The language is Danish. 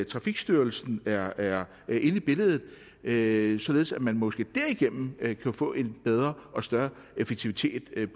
trafikstyrelsen er er inde i billedet således således at man måske derigennem kan få en bedre og større effektivitet med